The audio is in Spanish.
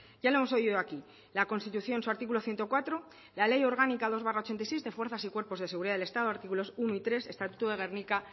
ya lo hemos oído aquí la constitución en su artículo ciento cuatro la ley orgánica dos barra ochenta y seis de fuerzas y cuerpos de seguridad del estado artículos uno y tres estatuto de gernika